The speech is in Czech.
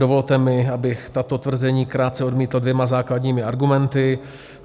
Dovolte mi, abych tato tvrzení krátce odmítl dvěma základními argumenty.